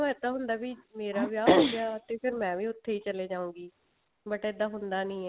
ਪਰ ਇੱਦਾਂ ਹੁੰਦਾ ਵੀ ਮੇਰਾ ਵਿਆਹ ਹੋਗਿਆ ਤੇ ਫ਼ੇਰ ਮੈਂ ਵੀ ਉੱਥੇ ਛਲੀ ਜਾਊਂਗੀ but ਇੱਦਾਂ ਹੁੰਦਾ ਨਹੀ ਹੈ